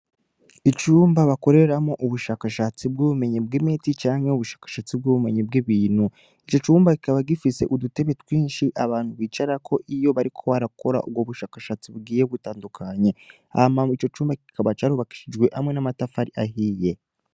Icumba bakoreramwo ubushakashatsi bw'ubumenyi bw'imiti canke ubushakashatsi bw'ubumenyi bw'ibintu, icocumba kikaba gifise udutebe twinshi abantu bicarako iyo bariko barakora ubwo bushakashasti bugiye butandukanye, hama icocumba kikaba carubakishijwe hamwe n'amatafari ahiye.